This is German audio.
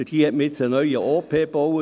Dort hat man jetzt einen neuen OP gebaut.